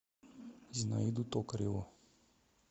зинаиду токареву